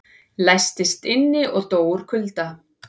Læstist inni og dó úr kulda